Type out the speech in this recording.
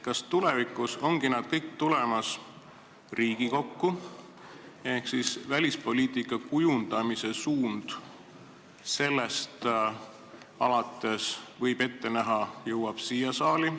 Kas tulevikus tulevad need kõik Riigikokku ehk kas võib ette näha, et arutelu välispoliitika kujundamise suuna üle jõuab siia saali?